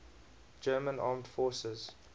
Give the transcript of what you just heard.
german armed forces